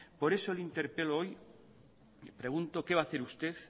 por eso le interpelo hoy y pregunto qué va a hacer usted